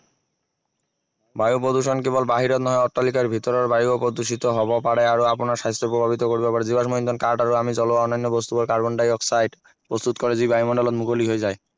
বায়ু প্ৰদূষণ কেৱল বাহিৰত নহয় অট্টালিকাৰ ভিতৰৰ বায়ুও প্ৰদূষিত হব পাৰে আৰু আপোনাৰ স্বাস্থ্য প্ৰভাৱিত কৰিব পাৰে জীৱাশ্ম ইন্ধন কাঠ আৰু জ্বলোৱা অন্য়ান্য় বস্তুৱে কাৰ্বন-ডাই-অক্সাইড প্ৰস্তুত কৰে যি বায়ুমণ্ডলত মুকলি হৈ যায়